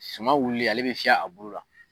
Su wililen ale bɛ fiyɛ a bolo la.